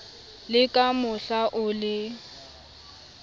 le ka mohla o le